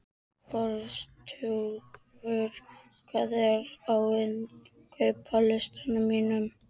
Frostúlfur, hvað er á innkaupalistanum mínum?